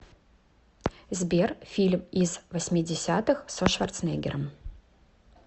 сбер фильм из восьмидесятых со шварценеггером